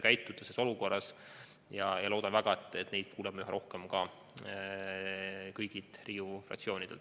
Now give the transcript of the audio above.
Ma loodan väga, et kuuleme neid üha rohkem ka kõigilt Riigikogu fraktsioonidelt.